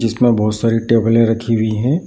जिसमे बोहोत सारी टेबले रखी हुई हैं।